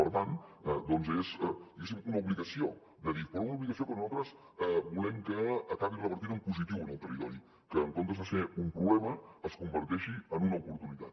per tant doncs és diguéssim una obligació d’adif però una obligació que nosaltres volem que acabi revertint en positiu en el territori que en comptes de ser un problema es converteixi en una oportunitat